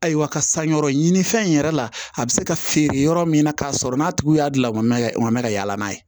Ayiwa ka san yɔrɔ ɲini fɛn in yɛrɛ la a bi se ka feere yɔrɔ min na k'a sɔrɔ n'a tigiw y'a dilan o mɛn o man ka yaala n'a ye